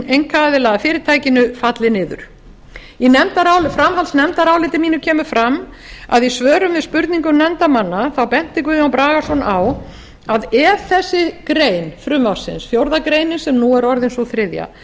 að fyrirtækinu falli niður í framhaldsnefndaráliti mínu kemur fram að í svörum við spurningum nefndarmanna benti guðjón bragason á að ef þessi grein frumvarpsins fjórðu grein sem nú er orðin sú þriðja